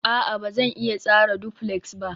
a'a, Ba zan iya tsara duflex ba